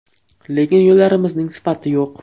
Lekin yo‘llarimizning sifati yo‘q.